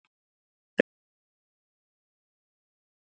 Reyndist þetta sigurmark leiksins.